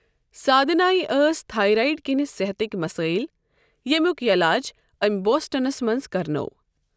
سادھنایہ ٲسۍ تھایرایِڈ کِنہِ صحتٕکۍ مَسٲیِل، ییمِیُک یلاج أمۍ بوسٹَنس منٛز کرنوو۔